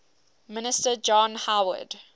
minister john howard